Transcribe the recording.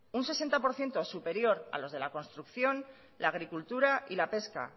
un sesenta por ciento superior a los de la construcción la agricultura y la pesca